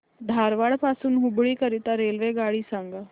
धारवाड पासून हुबळी करीता रेल्वेगाडी सांगा